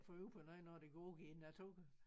Få øje på noget når de går i æ natur